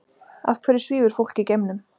Af hverju svífur fólk í geimnum?